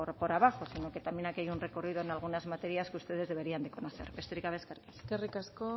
por abajo sino que también aquí hay un recorrido en algunas materias que ustedes deberían de conocer besterik gabe eskerrik asko eskerrik asko